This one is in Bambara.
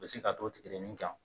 Bilisi ka t'o tigi de ni kan